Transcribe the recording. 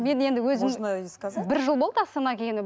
мен енді өзім бір жыл болды астанаға келгеніме